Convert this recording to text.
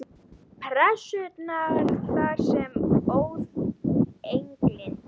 Pressunnar þar sem það óð elginn.